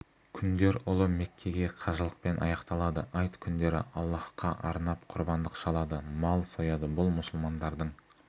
күндер ұлы меккеге қажылықпен аяқталады айт күндері аллаһқа арнап құрбандық шалады мал сояды бұл мұсылмандардың